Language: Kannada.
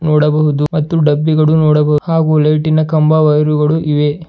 ನೋಡಬಹುದು ಮತ್ತು ಡಬ್ಬಿಗಳು ನೊಡಬ ಹಾಗು ಲೈಟಿನ ಕಂಬ ವಯರ್ಗಳು ಇವೆ.